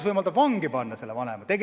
Seadus võimaldab vangi panna selle vanema.